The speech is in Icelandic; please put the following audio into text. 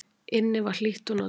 Inni var hlýtt og notalegt.